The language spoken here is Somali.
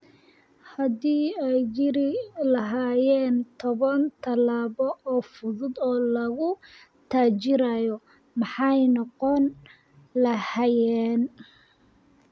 Haddii ay jiri lahaayeen toban tallaabo oo fudud oo lagu taajirayo, maxay noqon lahaayeen?